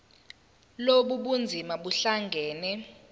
lobu bunzima buhlangane